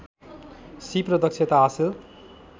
सीप र दक्षता हासिल